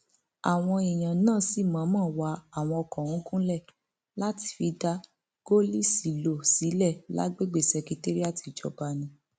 àwọn èèyàn náà sì mọọnmọ wá àwọn ọkọ ọhún gúnlẹ láti fi dá gòlíṣílọọ sílẹ lágbègbè ṣekéírátì ìjọba ni